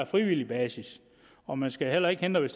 frivillig basis og man skal heller ikke hindre det